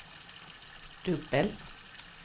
dubbel